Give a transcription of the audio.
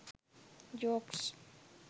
jokes